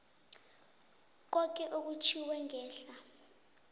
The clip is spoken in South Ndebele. koke okutjhwiwe ngehla